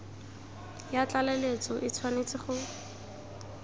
ya tlaleletso e tshwanetse go